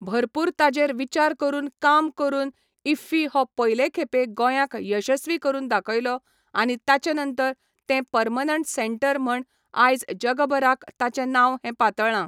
भरपूर ताजेर विचार करून काम करून इफ्फी हो पयले खेपे गोंयाक यशस्वी करून दाखयलो आनी ताचे नंतर तें परमनेंट सेंटर म्हण आयज जगबराक ताचें नांव हें पातळ्ळां